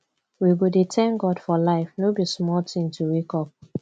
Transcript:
we go dey thank god for life no be small tin to wake up